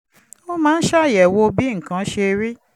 ó máa ń ṣàyẹ̀wò bí nǹkan ṣe rí